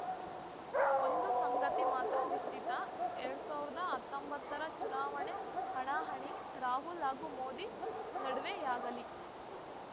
ಒಂದು ಸಂಗತಿ ಮಾತ್ರ ನಿಶ್ಚಿತ ಎರಡ್ ಸಾವಿರದ ಹತ್ತೊಂಬತ್ತರ ಚುನಾವಣೆ ಹಣಾಹಣಿ ರಾಹುಲ್‌ ಹಾಗೂ ಮೋದಿ ನಡುವೆಯಾಗಲೀ